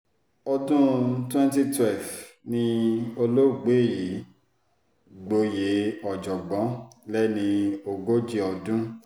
ọdún 2012 ni olóògbé yìí gboyè ọ̀jọ̀gbọ́n lẹ́ni ogójì ọdún